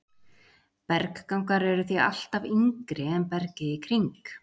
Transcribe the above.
Berggangar eru því alltaf yngri en bergið í kring.